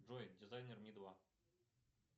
джой дизайнер ми два